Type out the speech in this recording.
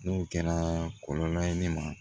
N'o kɛra kɔlɔlɔ ye ne ma